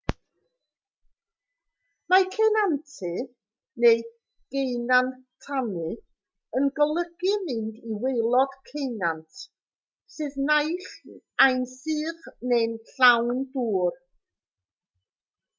mae ceunantu neu geunantannu yn golygu mynd i waelod ceunant sydd naill ai'n sych neu'n llawn dŵr